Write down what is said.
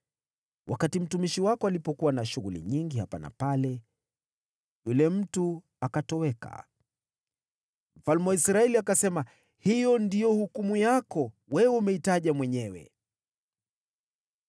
Wakati mtumishi wako alipokuwa na shughuli nyingi hapa na pale, yule mtu akatoweka.” Mfalme wa Israeli akasema, “Hiyo ndiyo hukumu yako. Wewe umeitaja mwenyewe.”